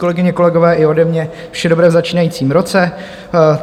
Kolegyně, kolegové, i ode mě vše dobré v začínajícím roce.